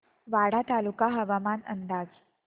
वाडा तालुका हवामान अंदाज